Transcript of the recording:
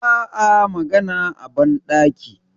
ba a magana a bandaki